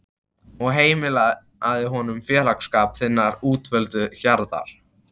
og heimilaðu honum félagsskap þinnar útvöldu hjarðar.